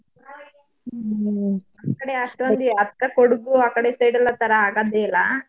ಅಷ್ಟೊಂದು ಹತ್ರ ಕೊಡಗು ಆ ಕಡೆ side ಥರ ಎಲ್ಲಾ ಆಗದೆ ಇಲ್ಲ.